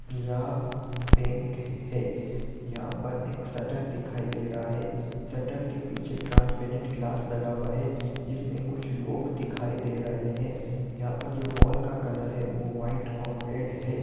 यह पिंक है यहां पर एक शटर दिखाई दे रहा है शटर के पीछे ट्रांसपेरेंट क्लास लगा हुआ है जिसमे कुछ लोग दिखाई दे रहे है यहां पर जो वॉल का कलर है वह व्हाइट और रेड है ।